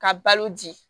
Ka balo di